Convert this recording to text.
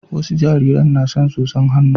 wasa jaririn na son tsotsan hannu